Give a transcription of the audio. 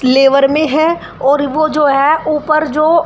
लेवर में है और वो जो है ऊपर जो--